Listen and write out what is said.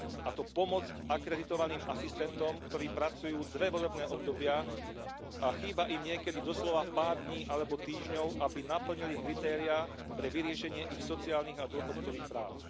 A to pomoc akreditovaným asistentom, ktorí pracujú dve volebné obdobia a chýba im niekedy doslova pár dní alebo týždňov, aby naplnili kritériá na vyriešenie ich sociálnych a dôchodkových práv.